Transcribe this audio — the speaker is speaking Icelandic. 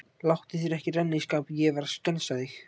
Láttu þér ekki renna í skap, ég var að skensa þig.